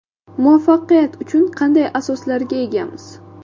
Muvaffaqiyat uchun qanday asoslarga egamiz?